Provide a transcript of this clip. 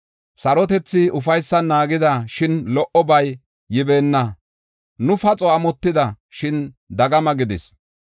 Sarotethi ufaysan naagida; shin lo77obay yibeena. Nu paxo amotida; shin dagama gidis.